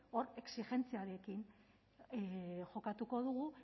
hor exijentziarekin jokatuko dugu